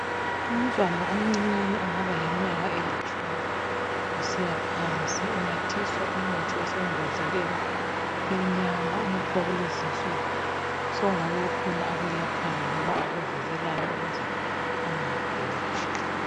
Umntwana omncinyane ongaba leminyaka elitshumi unathiswa umuthi osembodleleni emnyama. Umuthi wakulezi insuku, sokungabe kukhona akwelaphayo loba akuvikelayo ukuze angaguli.